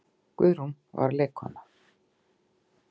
Guðrún var leikkona.